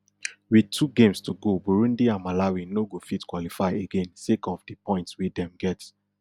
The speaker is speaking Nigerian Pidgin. wit two games to go burundi and malawi no go fit qualify again sake of di points wey dem get